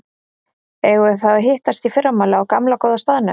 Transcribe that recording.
Eigum við þá að hittast í fyrramálið á gamla, góða staðnum?